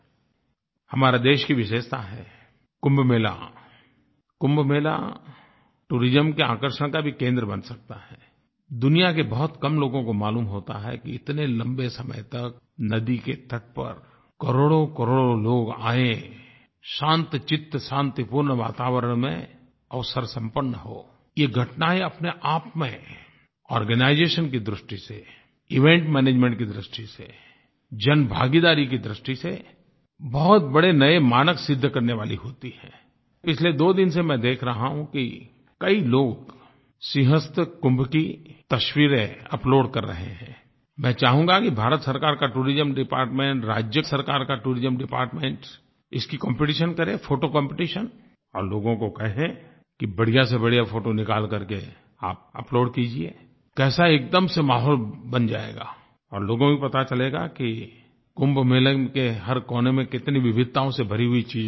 हमारे देश की विशेषता है कुंभ मेलाI कुंभ मेला टूरिज्म के आकर्षण का भी केंद्र बन सकता हैI दुनिया के बहुत कम लोगों को मालूम होता है कि इतने लंबे समय तक नदी के तट पर करोड़ोंकरोड़ों लोग आएI शांतचित्त शांतिपूर्ण वातावरण में अवसर संपन्न होI ये घटनायें अपने आप में आर्गेनाइजेशन की दृष्टि से इवेंट मैनेजमेंट की दृष्टि से जन भागीदारी की दृष्टि से बहुत बड़े नए मानक सिद्ध करने वाली होती हैंI पिछले दो दिन से मैं देख रहा हूँ कि कई लोग सिंहस्थ कुंभ की तस्वीरें अपलोड कर रहे हैंI मैं चाहूँगा कि भारत सरकार का टूरिज्म डिपार्टमेंट राज्य सरकार का टूरिज्म डिपार्टमेंट इसकी कॉम्पिटिशन करे फोटो कॉम्पिटिशन और लोगों को कहे कि बढ़िया से बढ़िया फोटो निकाल करके आप अपलोड कीजिएI कैसा एक दम से माहौल बन जायेगा और लोगों को भी पता चलेगा कि कुंभ मेले के हर कोने में कितनी विविधताओं से भरी हुई चीज़ें चल रही हैं